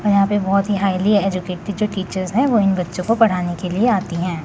और यहां पे बहोत ही हायली एजुकेटेड टीचर्स है जो इन बच्चों को पढ़ना के लिए आती है।